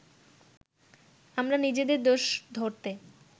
আমরা নিজেদের দোষ ধরতে